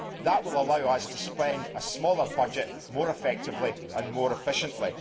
That will allow us to spend a smaller budget more effectively and more efficiently.